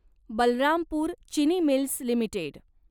Balrampur Chini mills limited